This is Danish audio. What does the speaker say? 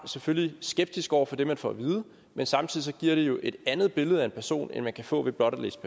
selvfølgelig skeptisk over for det man får at vide men samtidig giver det jo et andet billede af en person end man kan få ved blot at læse